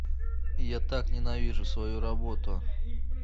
я так ненавижу свою работу